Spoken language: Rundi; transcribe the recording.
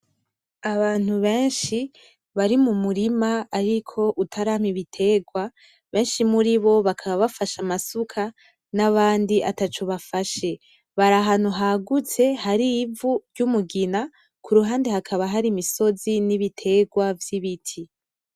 Abantu benshi bari mu murima ariko utarama ibiterwa benshi muri bo bakaba bafashe amasuka n'abandi ataco bafashe , bari ahantu hagutse hari ivu ry'umugina ku ruhande hakaba hari imisozi n'ibitegwa vy'ibiti.